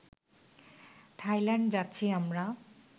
Thailand যাচ্ছি আমরা